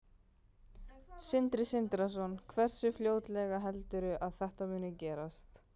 Sindri Sindrason: Hversu fljótlega heldurðu að þetta muni gerast?